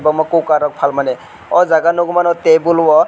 omo kokar rok palmani o jaga nogmano tebol o.